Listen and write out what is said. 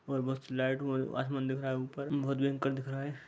और मस्त लाइट व आसमान दिख रहा है ऊपर बहोत भयंकर दिख रहा है।